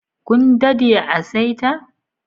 Kun dadde a'saita?